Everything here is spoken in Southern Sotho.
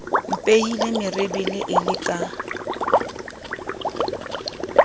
mpehile merebele e le ka